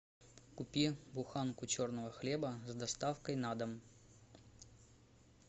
купи буханку черного хлеба с доставкой на дом